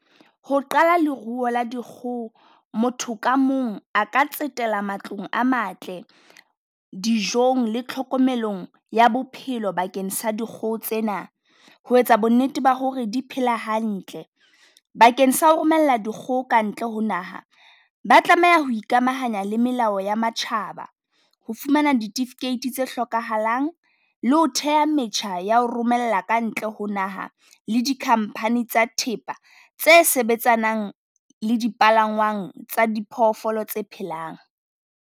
Ho qala leruo la dikgoho motho ka mong a ka tsetela matlong a matle, dijong le tlhokomelong ya bophelo bakeng sa dikgoho tsena. Ho etsa bonnete ba ho re di phela hantle bakeng sa ho romella dikgoho kantle ho naha. Ba tlameha ho ikamahanya le melao ya matjhaba, ho fumana ditifikeiti tse hlokahalang le ho theha metjha ya ho romela kantle ho naha le di company tsa thepa, tse sebetsanang le dipalangwang tsa diphoofolo tse phelang.